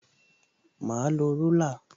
Mà á lo rúlà